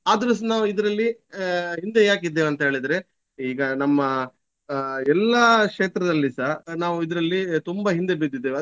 ಆದ್ರೂ ಸಹ ನಾವು ಇದರಲ್ಲಿ ಆಹ್ ಹಿಂದೆ ಯಾಕಿದ್ದೇವಂತೇಳಿದ್ರೆ ಈಗ ನಮ್ಮ ಆಹ್ ಎಲ್ಲಾ ಕ್ಷೇತ್ರದಲ್ಲಿ ಸಹ ನಾವು ಇದರಲ್ಲಿ ತುಂಬ ಹಿಂದೆ ಬಿದ್ದಿದ್ದೇವೆ.